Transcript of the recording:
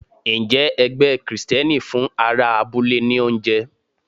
Ǹjẹ́ ẹgbẹ́ Kristẹni fún ará abúlé ní oúnjẹ?